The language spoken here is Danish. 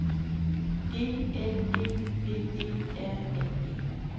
E L E V E R N E